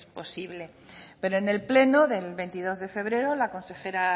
posible pero en el pleno del veintidós de febrero la consejera